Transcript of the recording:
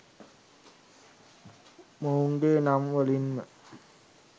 මොවුන්ගේ නම් වලින්ම